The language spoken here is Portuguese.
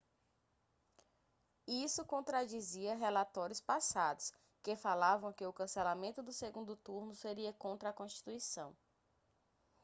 isso contradizia relatórios passados que falavam que o cancelamento do segundo turno seria contra a constituição